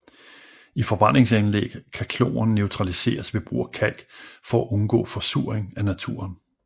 I forbrændingsanlæg kan kloren neutraliseres ved brug af kalk for at undgå forsuring af naturen